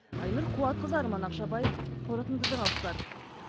айнұр қуатқызы арман ақшабаев қорытынды жаңалықтар